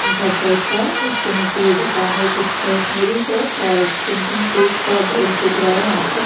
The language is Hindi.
एक घर टाइप का है उसके नीचे ये दुकान है एक स्टेशनरी शॉप और एक प्रिंटिंग प्रेस का बोर्ड दिख रा है यहां पर।